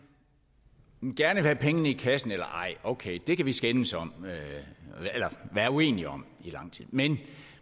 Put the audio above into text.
gerne vil have pengene i kassen eller ej okay det kan vi skændes om eller være uenige om i lang tid men